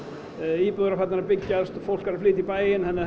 íbúðir eru farnar að byggjast fólk er að flytja í bæinn þannig að